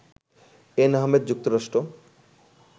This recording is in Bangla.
এন আহমেদ, যুক্তরাষ্ট্র